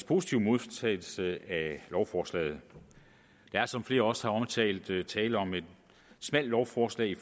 positive modtagelse af lovforslaget der er som flere også har omtalt tale om et smalt lovforslag i